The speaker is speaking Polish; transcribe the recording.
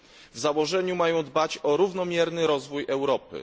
W założeniu mają dbać o równomierny rozwój Europy.